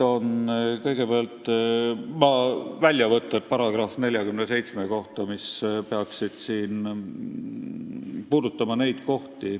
Jaa, väljavõtted kehtiva teksti §-st 47, mis peaksid neid teemasid puudutama.